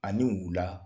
Ani wula